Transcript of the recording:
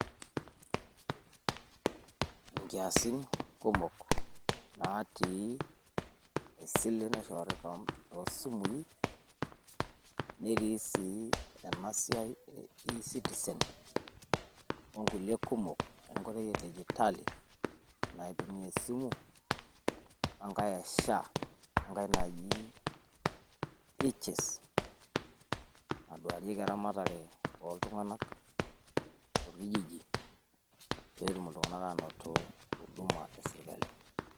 Inkiasin kumok natii esile naishoori toosimui netii sii esiai e eCitizen onkulie kumok e dijitali naitumia te esimu oo enkae e Social Health Authority, naaduarieki eramatata ooltung'anak torkijiji peyie etumoki iltung'anak anoto huduma e sirkali.